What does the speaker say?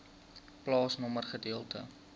plaasnommer gedeelte